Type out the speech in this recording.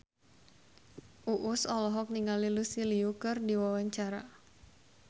Uus olohok ningali Lucy Liu keur diwawancara